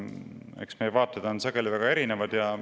Eks meie vaated on sageli väga erinevad.